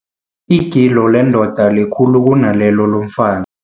Igilo lendoda likhulu kunalelo lomfa